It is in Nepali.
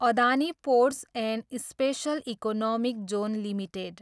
Adani ports and special economic zone limited